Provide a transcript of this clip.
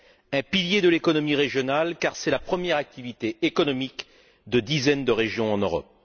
un pilier de l'économie régionale, car c'est la première activité économique de dizaines de régions en Europe